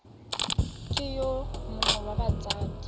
ke yo mongwe wa batsadi